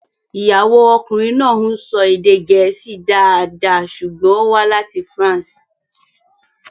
Ìyàwó ọkùnrin náà ń sọ èdè Gẹ̀ẹ́sì dáadáa ṣùgbọ́n ó wá láti France.